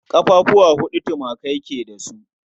Ƙafafuwa huɗu tumaki su ke da su